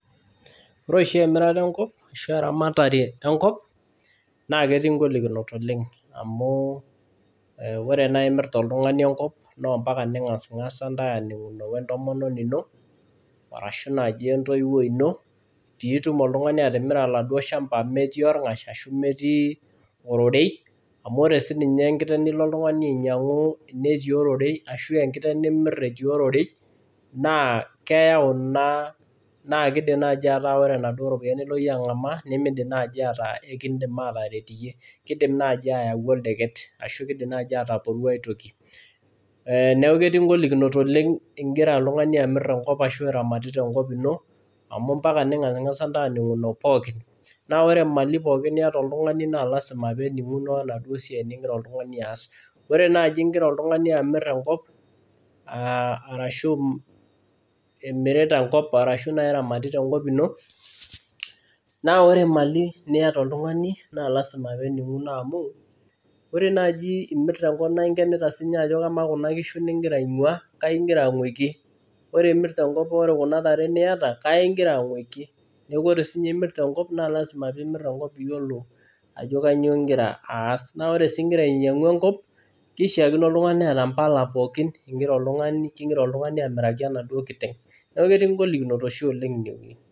Ore oshi emirata enkop ashu eramatare enkop naa ketii ingolikinot oleng amu ore enai mirta oltung'ani enkop naa ompaka ping'asing'asa aaning'uno we ntomononi ino arashu naaji entoiwoi ino piitum oltung'ani atimira oladuo shamba metii orng'ash ashu metii ororei amu ore siininye enkiteng nilo oltung'ani ainyang'u netii ororei ashu enkiteng nimirr netii ororei naa keyau ina, naa kiidim naai ataa ore inaduo ropiyiani niloito ang'amaa nemiidim naai ataa kiindim ataret iyie. Kiidim naai ayau oldeket ashu kiidim naai ataporwa ae toki. Neeku ketii ingolikinot oleng igira oltung'ani amirr enkop ashu iramatita enkop ino amu ompaka intae ning'asing'asa aaning'uno pookin. Naa ore imali pookin niata oltung'ani naa lazima peening'uno wenaduo siai nigira oltung'ani aas. Ore naaji igira oltung'ani amirr enkop, arashu imirita enkop, arashu naai iramatita enkop ino naa ore imali niata oltung'ani naa lazima peening'uno amu ore naaji imirta enkop naai inkenita siininye ajo kamaa kuna kishu aing'waa, kai igira aing'wiki. Ore imirta enkop ore kuna tare niata kai igira aing'wiki. Neeku ore siininye imirta enkop naa lazima piimirr enkop iyiolo ajo kanyoo igira aas. Naa ore sii igira ainyang'u enkop, kishiakino oltung'ani neeta mbala pookin kigira oltung'ani amiraki enaduo kiteng. Neeku ketii ingolikinot oshi oleng inewuei